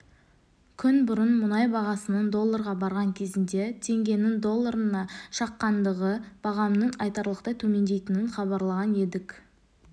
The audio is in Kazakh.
күн бұрын мұнай бағасының долларға барған кезінде теңгенің долларына шаққандағы бағамының айтарлықтай төмендейтінін хабарлаған едік